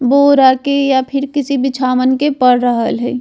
बोरा के या फिर किसी बिछावन के पड़ रहल ये।